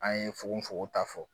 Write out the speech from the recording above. An ye fogofogo ta fɔ